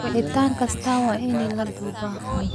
Wicitaan kasta waa in la duubaa.